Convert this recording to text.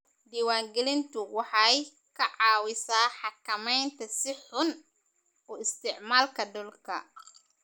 Diiwaangelintu waxay ka caawisaa xakamaynta si xun u isticmaalka dhulka.